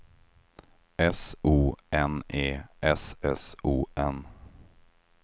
S O N E S S O N